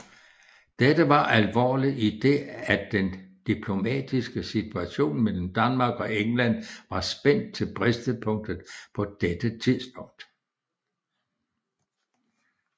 Dette var alvorligt i det at den diplomatiske situation mellem Danmark og England var spændt til bristepunktet på dette tidspunkt